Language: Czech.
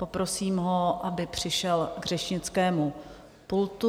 Poprosím ho, aby přišel k řečnickému pultu.